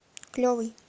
клевый